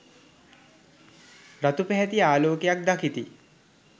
රතු පැහැති ආලෝකයක් දකිති.